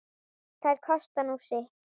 Þær kosta nú sitt.